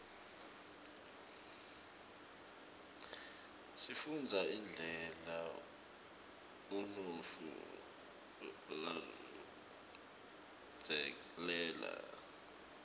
sifunbza indlela unutfu labzaleke ngayo